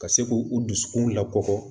Ka se k'u u dusukun lakɔ